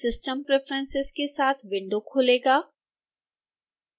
system preferences के साथ window खुलेगा